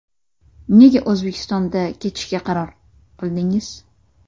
Nega O‘zbekistonda ketishga qaror qildingiz?